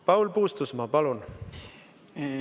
Paul Puustusmaa, palun!